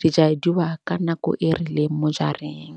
di jaduwa ka nako e rileng mo jareng.